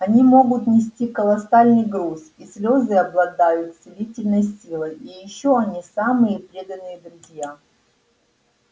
они могут нести колоссальный груз их слёзы обладают целительной силой и ещё они самые преданные друзья